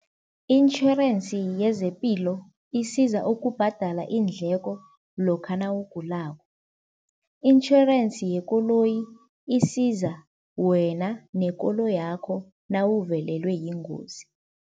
I-insurance yezepilo isiza ukubhadala iindleko lokha nawugulako, insurance yekoloyi isiza wena nekoloyakho nawuvelelwe yingozi.